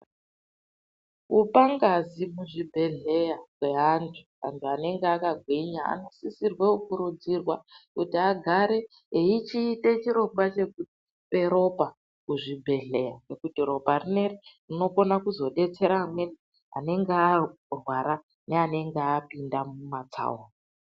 Kupa ngazi kuzvibhehehleya kweantu. Antu anenge akagwinya anosisirwe kurudzirwa kuti agare eichiite chirongwa chekupe ropa kuzvibhehleya ngekuti ropa rineri rinozodetsera amweni anenge arwara neanenge apinda mumatsaona.